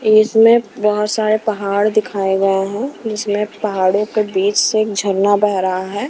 इसमें बहोत सारे पहाड़ दिखाएं गए हैं जिसमें पहाड़ों के बीच से एक झरना बह रहा है।